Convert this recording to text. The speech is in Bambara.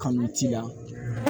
Kanu t'i la